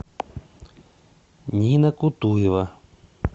нина кутуева